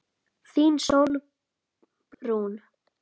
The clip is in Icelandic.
Þín, Sólrún.